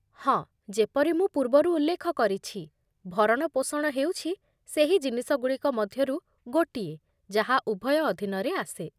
ହଁ, ଯେପରି ମୁଁ ପୂର୍ବରୁ ଉଲ୍ଲେଖ କରିଛି, ଭରଣପୋଷଣ ହେଉଛି ସେହି ଜିନିଷଗୁଡ଼ିକ ମଧ୍ୟରୁ ଗୋଟିଏ ଯାହା ଉଭୟ ଅଧୀନରେ ଆସେ।